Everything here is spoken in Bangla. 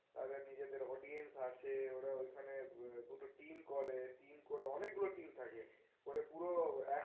তাদের নিজেদের audience আছে ওরা ঐখানে দুটো team করে team করে অনেক গুলো team থাকে করে পুরো এক